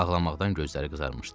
Ağlamaqdan gözləri qızarmışdı.